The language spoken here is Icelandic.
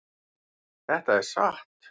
Þetta er satt!